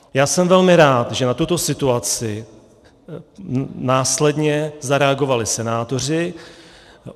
Já jsem velmi rád, že na tuto situaci následně zareagovali senátoři.